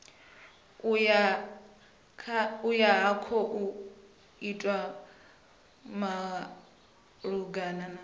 ayo a khou itwa malugana